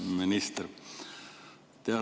Hea minister!